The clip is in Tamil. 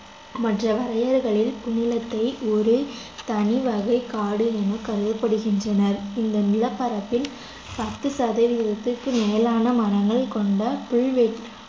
மற்ற வரையறைகளில் புன்னிலத்தை ஒரு தனி வகைக் காடு என கருதப்படுகின்றனர் இந்த நிலப்பரப்பில் பத்து சதவீதத்துக்கும் மேலான மரங்கள் கொண்ட புல்வெ~